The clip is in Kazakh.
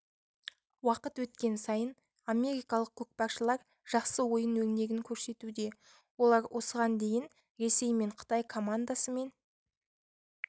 уақыт өткен сайын америкалық көкпаршылар жақсы ойын өрнегін көрсетуде олар осыған дейін ресей мен қытай командасымен